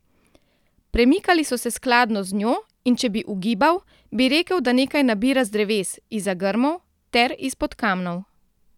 Premikali so se skladno z njo, in če bi ugibal, bi rekel, da nekaj nabira z dreves, izza grmov ter izpod kamnov.